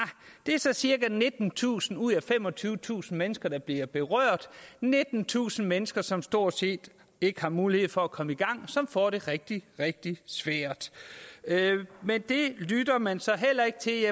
det er så cirka nittentusind ud af femogtyvetusind mennesker der bliver berørt nittentusind mennesker som stort set ikke har mulighed for at komme i gang og som får det rigtig rigtig svært men det lytter man så heller ikke til